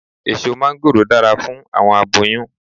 Eso máńgòrò dara fun awọn aboyun